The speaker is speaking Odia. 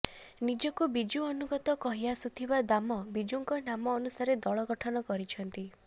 ନିଜକୁ ବିଜୁ ଅନୁଗତ କହି ଆସୁଥିବା ଦାମ ବିଜୁଙ୍କ ନାମ ଅନୁସାରେ ଦଳ ଗଠନ କରିଛନ୍ତି